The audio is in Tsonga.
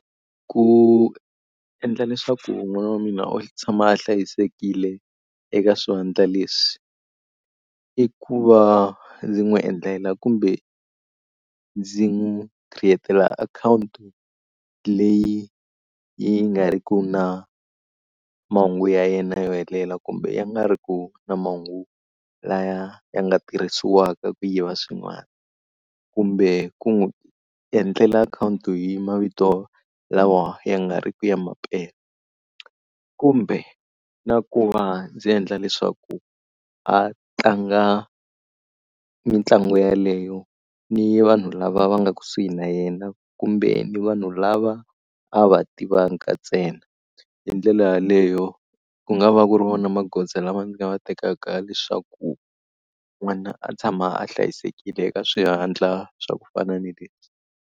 Ku endla leswaku n'wana wa mina o tshama a hlayisekile eka swivandla leswi, i ku va ndzi n'wi endlela kumbe ndzi n'wi create-ela akhawunti leyi yi nga ri ki na mahungu ya yena yo helela kumbe ya nga ri ku na mahungu laya ya nga tirhisiwaka ku yiva swin'wana. Kumbe ku n'wi endlela akhawunti hi mavito lawa ya nga ri ki ya mampela. Kumbe na ku va ndzi endla leswaku a tlanga mitlangu yaleyo ni vanhu lava va nga kusuhi na yena kumbe ni vanhu lava a va tivaka ntsena. Hi ndlela yaleyo ku nga va ku ri vona magoza lama ndzi nga va tekaka leswaku n'wana a tshama a hlayisekile eka swivantla swa ku fana ni leswi.